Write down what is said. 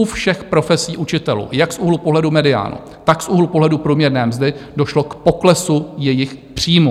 U všech profesí učitelů, jak z úhlu pohledu mediánu, tak z úhlu pohledu průměrné mzdy, došlo k poklesu jejich příjmů.